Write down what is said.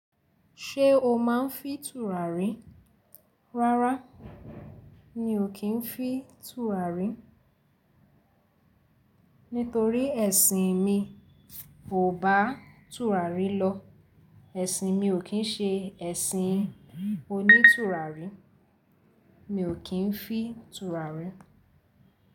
Ṣé o máa ń fì tùràrí? Rárá, mi ò kí ń fì tùràrí, nítorí ẹ̀sìn mi kò bá tùràrí lọ. Ẹ̀sìn mi ò kín ṣe ẹ̀sìn onítùràrí. Mi ò kí ń fì tùràrí.